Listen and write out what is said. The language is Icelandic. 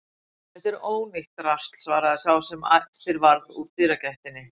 Þetta er ónýtt drasl svaraði sá sem eftir varð úr dyragættinni.